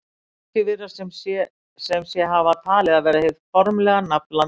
margir virðast sem sé hafa talið það vera hið formlega nafn landsins